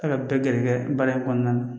gɛrɛgɛrɛ baara in kɔnɔna na